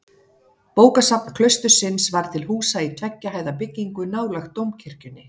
Bókasafn klaustursins var til húsa í tveggja hæða byggingu nálægt dómkirkjunni.